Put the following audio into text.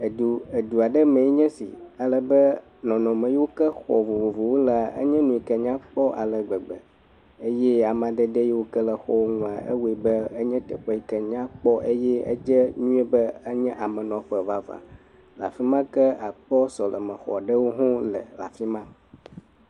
Edu edu aɖe me enye esi alebe nɔnɔme yiwo ke xɔ vovovowo le, enye nu yike nyakpɔ ale gbegbe eye amadede yike le xɔwo ŋua, ewɔe be enye teƒe yike nyakpɔ eye dze be enye amenɔƒe vavã. Le afi ma ke akpɔ sɔlemexɔ aɖewo hawo le le afi ma.